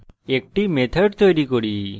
একটি method তৈরী করি